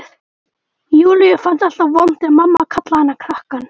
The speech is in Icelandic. Júlíu fannst alltaf vont þegar mamma kallaði hana krakkann.